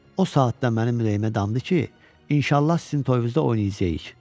O saatda mənim ürəyimə damdı ki, inşallah sizin toyunuzda oynayacağıq.